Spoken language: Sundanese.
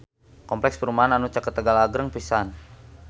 Kompleks perumahan anu caket Tegal agreng pisan